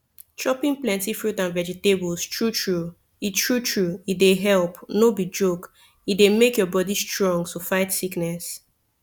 chopping plenty fruit and vegetables true true e true true e dey help no be joke e dey make your body strong to fight sickness